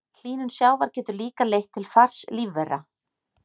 Hlýnun sjávar getur líka leitt til fars lífvera.